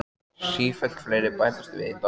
Sífellt fleiri bætast við í dansinn.